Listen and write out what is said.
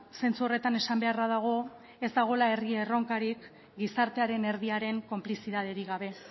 zentzu horretan esan beharra dago ez dagoela herri erronkarik gizartearen erdiaren konplizitaterik gabe